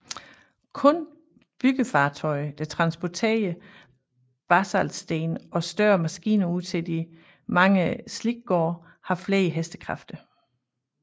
Kun byggefartøjer der transporterer basaltsten og større maskiner ud til de mange slikgårde har flere hestekræfter